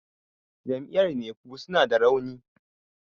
jam'iyyar nefu suna da rauni